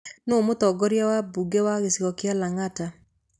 Nũũ mũtongoria wa mbunge wa gĩcigo kĩa Lang'ata?